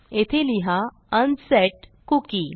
येथे लिहा unset cookie